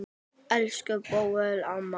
Elsku Bóel amma.